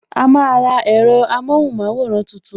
A máa ra ẹ̀rọ amóhùn maworan tuntun